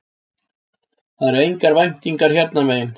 Það eru engar væntingar hérna megin